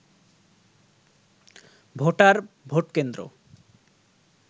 voter, vote কেন্দ্র